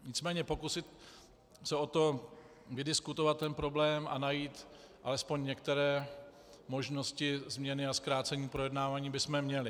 Nicméně pokusit se o to vydiskutovat ten problém a najít alespoň některé možnosti změny a zkrácení projednávání bychom měli.